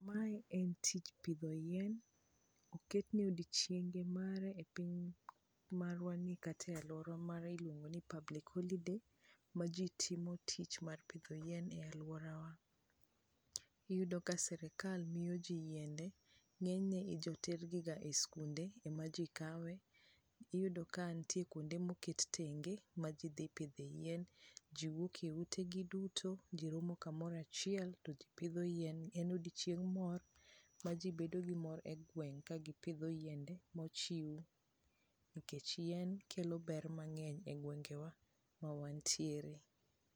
mae en tich pidho yien oketne odiochienge mare kata e aluora mare miluongo ni public holiday ma jii timo tich mar pidho yien e aluorawa .Iyudo ka sirikal miyo jii yiende ng'enyne ija tergi gi ga e skunde ema jii kawe iyudo ka ntie kuonde moket tenge maji dhi pidhe yien jii wuok eute gi duto, jii romo kamoro achiel to jii pidho yien en odiochieng' mor ma jii bedo gimor e gweng' ka gipidho yiende mochiw nikech yien kelo ber mang'eny e gwengewa ma wantiere.